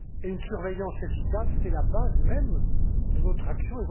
Une surveillance efficace, c'est la base même de notre action.